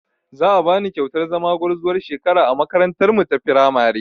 Za a bani kyautar zama gwarzuwar shekara a makarantarmu ta firamare